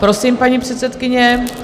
Prosím, paní předsedkyně.